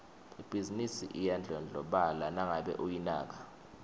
ibhizinisi iyadlondlobala nangabe uyinaka